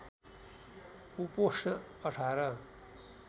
उपोष्ण १८